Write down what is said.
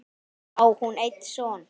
Á hún einn son.